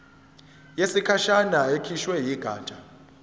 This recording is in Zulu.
yesikhashana ekhishwe yigatsha